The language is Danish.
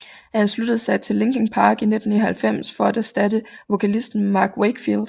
Han sluttede sig til Linkin Park i 1999 for at erstatte vokalisten Mark Wakefield